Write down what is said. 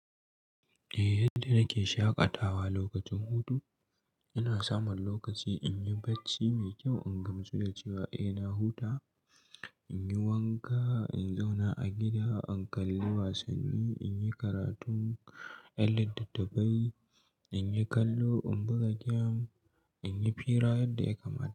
Eh yadda nake shaƙatawa lokacin hutu, ina samun lokaci in yi barci mai kyau, in gamsu da cewa eh na huta, in yi wanka, in zauna a gida, in kalle wasanni, in yi karatun yan littattafai, in yi kallo, in buga gem, in yi fira yadda ya kamata.